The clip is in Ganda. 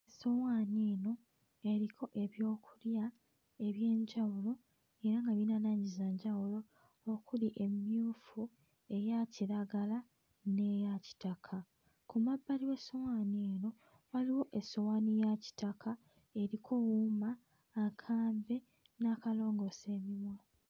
Essowaani eno eriko ebyokulya eby'enjawulo era nga birina langi za njawulo okuli emmyufu, eya kiragala n'eya kitaka. Ku mabbali w'essowaani eno waliwo essowaani ya kitaka eriko wuuma, akambe n'akalongoosa emimwa.